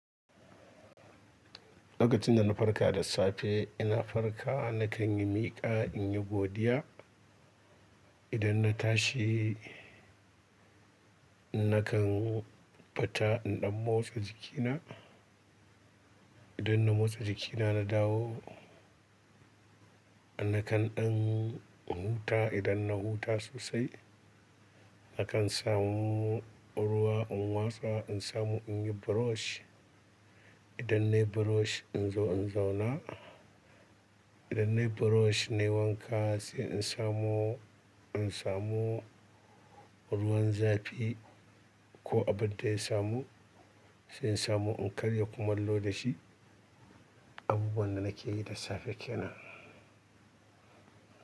Lokacin da na farka da safe, ina farka na kan yi miƙa, in yi godiya. Idan na tashi na kan futa in ɗan motsa jikina. Idan na motsa jikina na dawo na kan ɗan huta. Idan na huta sosai na kan samu ruwa in wasa in samu in yi brush idan naye brush in zo in zauna idan naye brush naye wanka, sai in samu in samu ruwan zafi ko abin da ya samu. Sai in samu in karya kumalo da shi. Abubuwan da nakeyi da safe kenan.